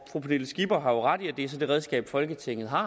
fru pernille skipper har ret i at det så er det redskab folketinget har